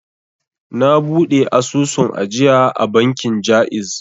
Na buɗe asusun ajiya a bankin ja'iz